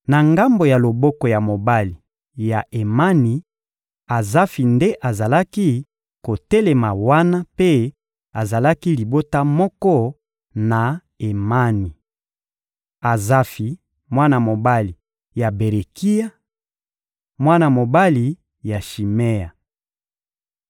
Na ngambo ya loboko ya mobali ya Emani, Azafi nde azalaki kotelema wana mpe azalaki libota moko na Emani. Azafi, mwana mobali ya Berekia, mwana mobali ya Shimea,